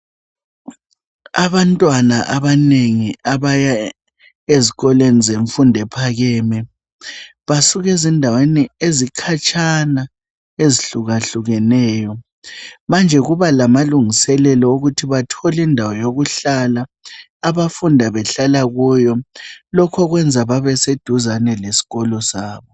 Abantwana abanengi abaya ezikolweni zemfundo ephakeme. Basuka ezindaweni ezikhatshana ezihlukahlukeneyo. Manje kuba lamalungiselelo okuthi bathole indawo yokuhlala, abafunda behlala kuyo. Lokhu kwenza babeseduze lesikolo sabo.